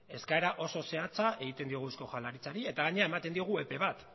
eskaera oso zehatza egiten diogu eusko jaurlaritzari eta gainera ematen diogu epe bat